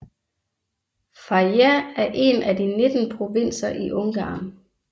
Fejér er en af de 19 provinser i Ungarn